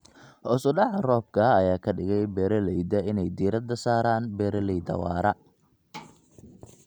Hoos u dhaca roobka ayaa ka dhigay beeralayda inay diirada saaraan beeralayda waara.